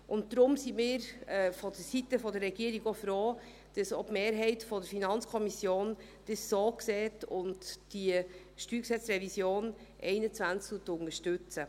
Und darum sind wir vonseiten der Regierung auch froh, dass auch die Mehrheit der FiKo das so sieht und diese StG-Revision 2021 unterstützt.